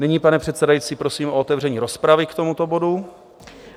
Nyní, pane předsedající, prosím o otevření rozpravy k tomuto bodu.